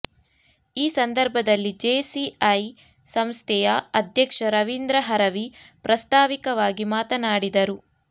ಈ ಸಂದರ್ಭದಲ್ಲಿ ಜೇಸಿಐ ಸಂಸ್ಥೆಯ ಅಧ್ಯಕ್ಷ ರವೀಂದ್ರ ಹರವಿ ಪ್ರಾಸ್ಥಾವಿಕವಾಗಿ ಮಾತನಾಡಿದರು